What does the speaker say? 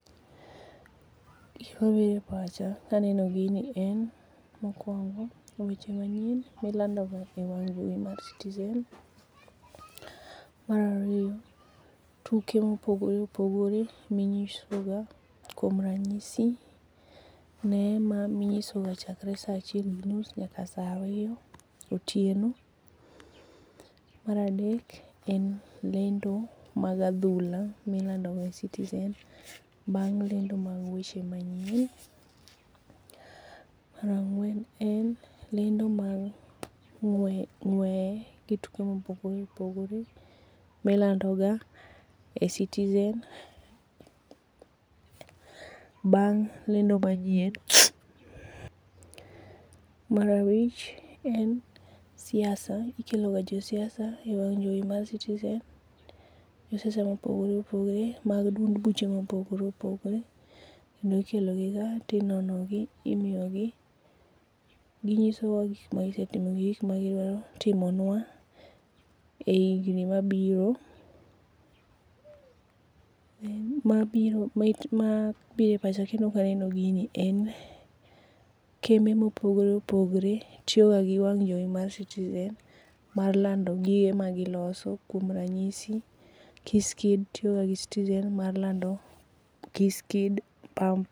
Gima biro e pacha kaneno gin en mokuongo, weche manyien milandoga ewang' jowi mar Citizen. Mar ariyo, tuke mopogore opogore minyisoga kuom ranyisi Neema minyisoga chakre saa achiel gi nus nyaka saa ariyo otieno. Mar adek en lendo mag adhula milandoga e Citizen bang' lendo mag weche manyien. Mar ang'wen en lendo mag ng'ueye gi tuke mopogore opogore milandoga e Citizen bang' lendo manyien. Mar abich en siasa, ikeloga jo siasa ewang' jowi mar Citizen, jo siasa mopogore opogore mag duond buche mopogore opogore, kendo ikelogiga, to inonogi, ginyisowa gik magisetimo gi gik ma gidwa timonua e higni mabiro, mabiro e pacha kendo kaneno gini en kembe mopogore opogore tiyo gi wang jowi mar Citizen mar lando gige ma giloso kuom ranyisi Kiss kids tiyoga gi Citizen mar lando Kiss kids, pamp.